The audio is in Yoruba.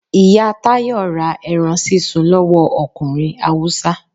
iya tayo ra erán sísún lowo ọkunrín Hawúsa